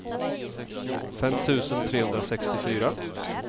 fem tusen trehundrasextiofyra